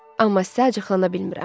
Amma sizə acıqlana bilmirəm.